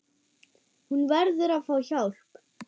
Hún verður að fá hjálp.